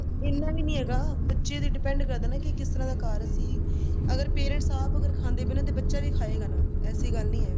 ਇਹਨਾਂ ਵੀ ਨਹੀਂ ਹੈਗਾ ਬੱਚੇ ਤੇ depend ਕਰਦਾ ਕਿ ਇਹ ਕਿਸ ਤਰ੍ਹਾਂ ਦਾ ਘਰ ਸੀ ਅਗਰ parents ਆਪ ਅਗਰ ਖਾਂਦੇ ਬਣਾਦੇ ਤਨ ਬੱਚਾ ਵੀ ਖਾਏਗਾ ਨਾਲ ਐਸੀ ਗੱਲ ਨਹੀਂ ਹੈ